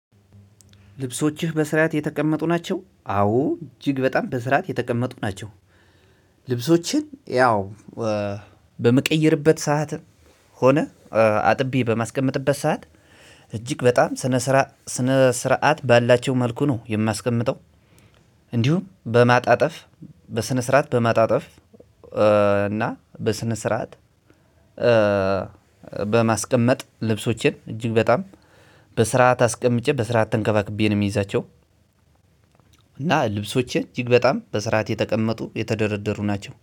ልብሶችህ በስርዓት የተቀመጡ ናቸው አዎ እጅግ በጣም በስርዓት የተቀመጡ ናቸው። ልብሶችን ያው በምቀይርበት ሰዓት ሆነ አጥቤ በማስቀመጥበት ሰዓት እጅግ በጣም ስነ ስርዓት ባላቸው መልኩ ነው የማስቀምጠው። እንዲሁም በማጣጠፍ በስነ ስርዓት በማጣጠፍ እና በስነ ስርዓት በማስቀመጥ ልብሶችን እጅግ በጣም በስርዓት አስቀምጬ በስርዓት ተንከባክቤ ነው የሚይዛቸው። እና ልብሶቼ እጅግ በጣም በስራት የተቀመጡ የተደረደሩ ናቸው